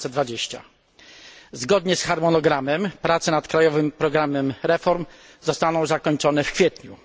2020. Zgodnie z harmonogramem, prace nad krajowym programem reform zostaną zakończone w kwietniu.